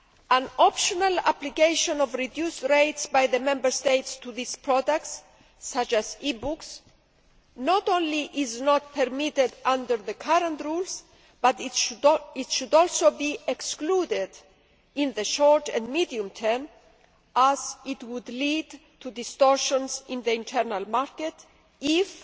An optional application of reduced rates by the Member States to these products, such as e books, not only is not permitted under the current rules, but it should also be excluded in the short and medium term as it would lead to distortions in the internal market if